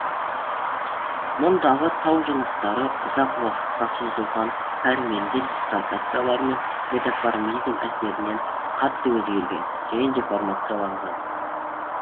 мұндағы тау жыныстары ұзақ уақытқа созылған пәрменді дислокациялар мен метаморфизм әсерінен қатты өзгерген және деформацияланған